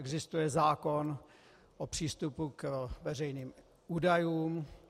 Existuje zákon o přístupu k veřejným údajům.